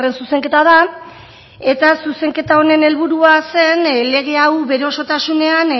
zuzenketa da eta zuzenketa honen helburua zen lege hau bere osotasunean